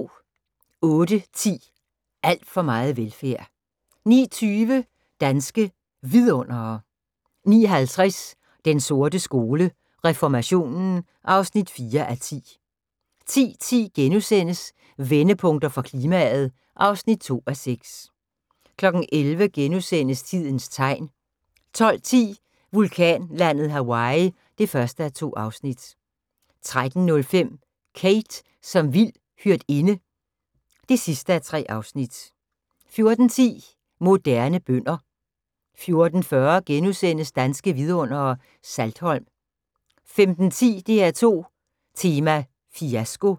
08:10: Alt for meget velfærd 09:20: Danske Vidundere 09:50: Den sorte skole: Reformationen (4:10) 10:10: Vendepunkter for klimaet (2:6)* 11:00: Tidens Tegn * 12:10: Vulkanlandet Hawaii (1:2) 13:05: Kate som vild hyrdinde (3:3) 14:10: Moderne bønder 14:40: Danske Vidundere: Saltholm * 15:10: DR2 Tema: Fiasko